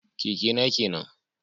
Keke na kenan